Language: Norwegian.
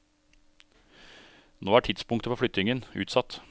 Nå er tidspunktet for flyttingen utsatt.